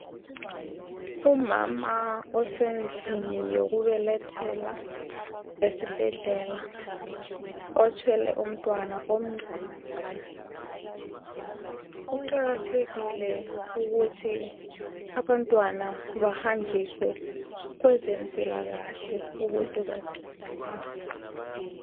umama osendlini yokubelethela esibhedlela othwele umntwana omncane kuqakathekile ukuthi abantwana bahanjiswe kwezempilakahle ukuze bancedakale